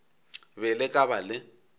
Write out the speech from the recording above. be le ka ba le